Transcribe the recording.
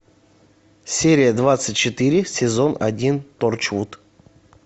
серия двадцать четыре сезон один торчвуд